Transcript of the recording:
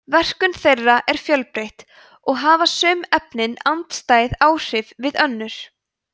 verkun þeirra er fjölbreytt og hafa sum efnin andstæð áhrif við önnur